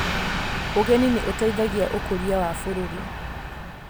Ũgeni nĩ ũteithagia ũkũria wa bũrũri.